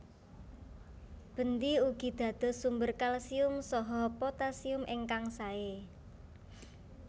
Bendi ugi dados sumber kalsium saha potassium ingkang sae